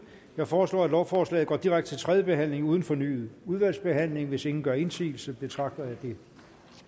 jeg foreslår at lovforslaget går direkte til tredje behandling uden fornyet udvalgsbehandling hvis ingen gør indsigelse betragter jeg det